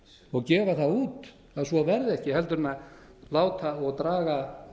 og gefa það út að svo verði ekki heldur en láta og draga